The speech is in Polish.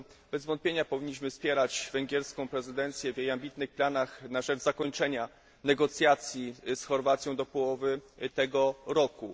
Bez wątpienia powinniśmy wspierać węgierską prezydencję w jej ambitnych planach na rzecz zakończenia negocjacji z Chorwacją do połowy tego roku.